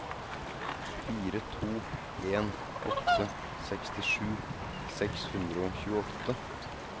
fire to en åtte sekstisju seks hundre og tjueåtte